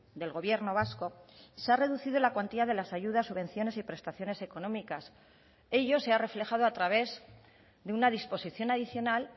del gobierno vasco se ha reducido la cuantía de las ayudas subvenciones y prestaciones económicas ello se ha reflejado a través de una disposición adicional